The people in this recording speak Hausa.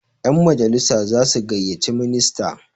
yanmajalisa za su gaiyyaci minista